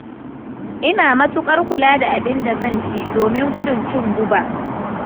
Ina matuƙar kula da abin da zan ci, domin gudun cin guba.